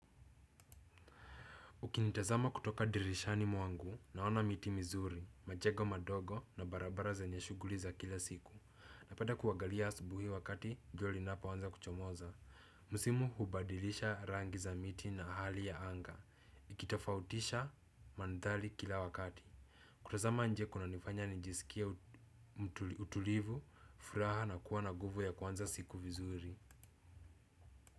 Ukinitazama kutoka dirishani mwangu naona miti mizuri, majego madogo na barabara zenye shughuli za kila siku. Napeda kuagalia asubuhi wakati jua linapoanza kuchomoza. Musimu hubadilisha rangi za miti na hali ya anga. Ikitafautisha mandhali kila wakati. Kutazama nje kunanifanya nijisikie utulivu, furaha na kuwa na guvu ya kuanza siku vizuri.